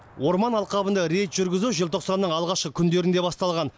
орман алқабында рейд жүргізу желтоқсанның алғашқы күндерінде басталған